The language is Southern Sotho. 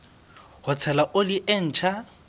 ho tshela oli e ntjha